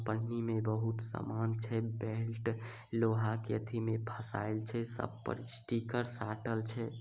पन्नी में बहुत सामान छै बेल्ट लोहा के अथी में फसायल छै सब पर अ स्टीकर साटल छै।